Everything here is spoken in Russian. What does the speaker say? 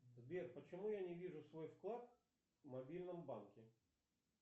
сбер почему я не вижу свой вклад в мобильном банке